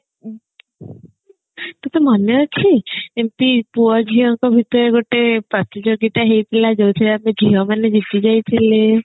ତତେ ମନେ ଅଛି ଏମତି ପୁଅ ଝିଅ ଙ୍କ ଭିତରେ ଗୋଟେ ପ୍ରତିଯୋଗିତା ହେଇଥିଲା ଯୋଉଥିରେ ଆମେ ଝିଅ ମାନେ ଜିତି ଯାଇଥିଲେ